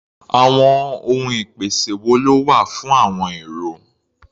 Àwọn ohun ìpèsè wo ló wà fún àọn èrò?